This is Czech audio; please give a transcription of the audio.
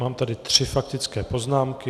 Mám tady tři faktické poznámky.